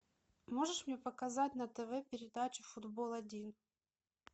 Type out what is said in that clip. можешь мне показать на тв передачу футбол один